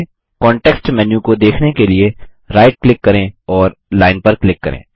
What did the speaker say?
context menu को देखने के लिए राइट क्लिक करें और लाइन पर क्लिक करें